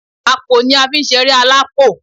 Àpò ni a fi ń sẹré alápò